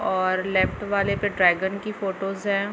और लेफ्ट वाले पे ड्रैगन की फोटोज है।